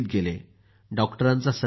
डॉक्टरांचा सल्ला घेतली